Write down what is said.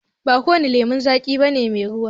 Ba kowane lemon zaƙi bane mai ruwa